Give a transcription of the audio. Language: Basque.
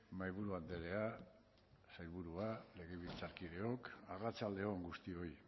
mahaiburu andrea sailburua legebiltzarkideok arratsalde on guztioi